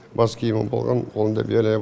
бас киімі болған қолында биялай